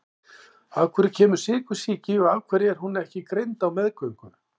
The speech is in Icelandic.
Af hverju kemur sykursýki og af hverju er hún ekki greind á meðgöngu?